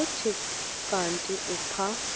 kuthi kanti umpha